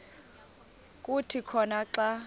kuthi khona xa